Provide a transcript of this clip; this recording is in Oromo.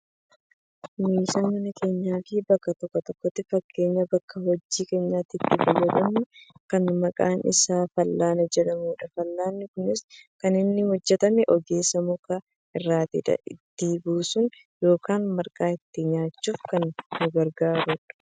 Meeshaa mana keenyaafi bakka tokko tokkotti fakkeenyaaf bakka hojii keenyaatti itti fayyafamnu kan maqaan isaa fal'aana jedhamudha. Fal'aanni kunis kan inni hojjatame ogeessaan muka irraatidha. Ittoo buussuun yookaan marqaa ittiin nyaachuuf kan nu gargaarudha.